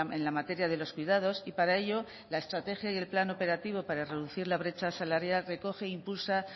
en la materia de los cuidados y para ello la estrategia y el plan operativo para reducir la brecha salarial recoge impulsa